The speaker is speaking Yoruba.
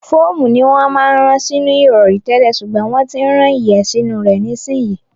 Fóòmù ni wọ́n máa ń rán sínú ìrọ̀rí tẹ́lẹ̀ ṣùgbọ́n wọ́n ti ń rán ìyẹ́ sínú rẹ̀ nísìnyí.